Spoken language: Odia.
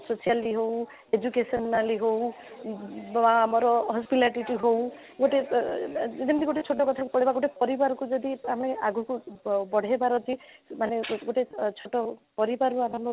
socially ହଉ educationally ହଉ ବା ଆମର ହସ୍ପିଲାଟିଟି ଗୋଟେ ଆଃ ଯେମିତି ଗୋଟେ ସତ କଥା କହିବା ଯଦି ଗୋଟେ ପରିବାର କୁ ଯଦି ଆମେ ଆଗକୁ ବଢେଇବାର ଅଛି ମାନେ ଗୋଟେ ଛୋଟ ପରିବାର କୁ ଆରମ୍ଭ କରି